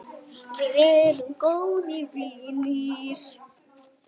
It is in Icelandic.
Við erum góðir vinir.